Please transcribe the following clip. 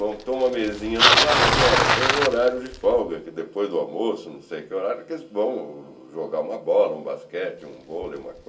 Montou uma mesinha no pátio e falou olha, tem um horário de folga, que depois do almoço, não sei que horário, que eles vão jogar uma bola, um basquete, um vôlei, uma